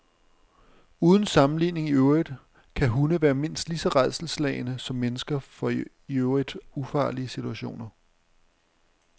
Uden sammenligning i øvrigt kan hunde være mindst lige så rædselsslagne som mennesker for i øvrigt ufarlige situationer.